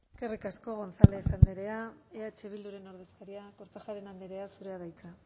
eskerrik asko gonzález andrea eh bilduren ordezkaria kortajarena andrea zurea da hitza